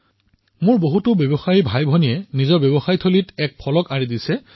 মোৰ বহুতো ব্যৱসায়ী ভাতৃভগ্নীয়ে দোকানত এখন প্লেকাৰ্ড লগাইছে